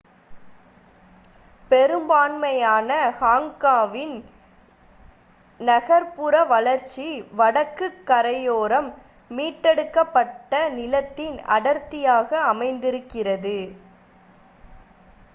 பெரும்பான்மையான ஹாங்காங்கின் நகர் புற வளர்ச்சி வடக்குக் கரையோரம் மீட்டெடுக்கப் பட்ட நிலத்தில் அடர்த்தியாக அமைந்திருக்கிறது